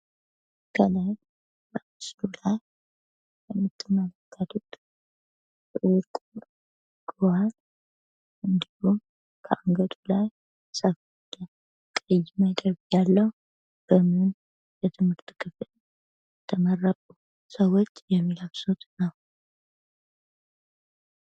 ገዋን ሰዎች ሲመረቁ የሚልብሱት ሲሆን ቅይ ያለው ደግሞ በ ማስተር ሲመረቁ የሚለብሱት ነው።